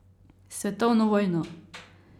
Svetovno vojno.